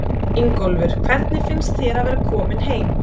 Ingólfur: Hvernig finnst þér að vera kominn heim?